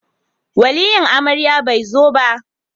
Waliyin amarya ba zai zo ba